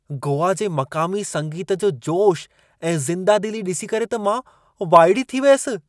गोआ जे मक़ामी संगीत जो जोश ऐं ज़िंदादिली ॾिसी करे त मां वाइड़ी थी वियसि।